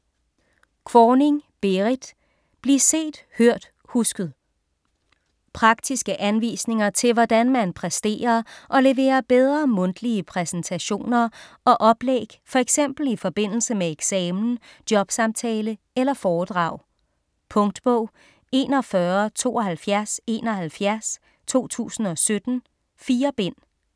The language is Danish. Kvorning, Berrit: Bliv set, hørt, husket Praktiske anvisninger til hvordan man præsterer og leverer bedre mundtlige præsentationer og oplæg, f.eks. i forbindelse med eksamen, jobsamtale eller foredrag. Punktbog 417271 2017. 4 bind.